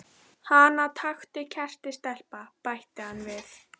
Hana taktu kertið stelpa, bætti hann við.